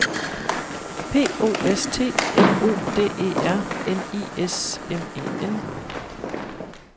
P O S T M O D E R N I S M E N